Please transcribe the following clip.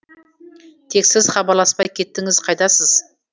тек сіз хабарласпай кеттіңіз қайдасыз